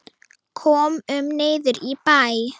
Komum niður í bæ!